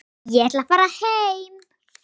Ég ætla að fara heim.